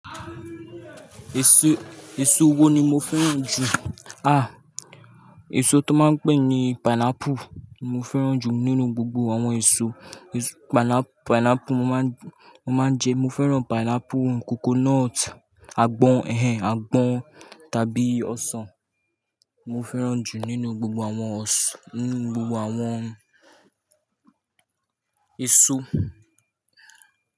Èso, èso wo ni mo fẹ́ràn jù? À, èso tó máa ń pè ní pineapple mo fẹ́ràn jù nínú gbogbo àwọn èso. Èso pineapple mo máa ń, mo máa ń jẹ. Mo fẹ́ràn pineapple, coconut, àgbọn, ẹ̀hẹ̀n àgbọn tàbí ọsàn mo fẹ́ràn jù nínú gbogbo àwọn ọsàn, nínú gbogbo àwọn èso.